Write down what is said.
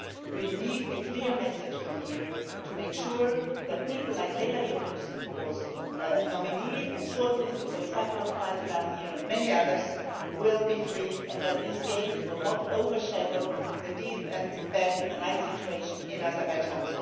We need a clear message from here to make sure that people like Leyla Yunus, who was a nominee and shortlisted for the Sakharov Prize last year, and many others, will be freed and that these games will not overshadow the deep and bad human rights situation in Azerbaijan.